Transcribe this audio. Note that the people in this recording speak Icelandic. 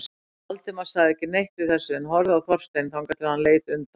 Valdimar sagði ekki neitt við þessu en horfði á Þorstein þangað til hann leit undan.